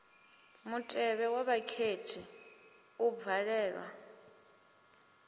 mutevhe wa vhakhethi u bvalelwa